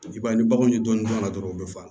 I b'a ye ni baganw ye dɔɔnin dɔrɔn u bɛ fa